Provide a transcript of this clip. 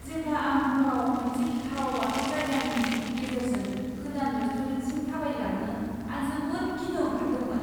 जेब्ला आं हराव मोनसे गिथाव बाथाव जायगानि गेजेरजों गोदान रेस्टुरेन्टसिम थाबायलाङो, आं जोबोद गिनो ओंखारदोंमोन।